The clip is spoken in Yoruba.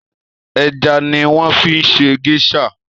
Èjà niwòn fi ṣé géṣà